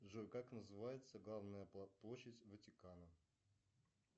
джой как называется главная площадь ватикана